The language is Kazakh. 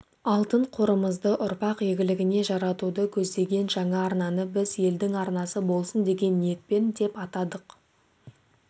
алтын қорымызды ұрпақ игілігіне жаратуды көздеген жаңа арнаны біз елдің арнасы болсын деген ниетпен деп атадық